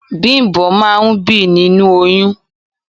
Bimbo máa ń bí nínú oyún.